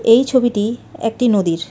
এই ছবিটি একটি নদীর।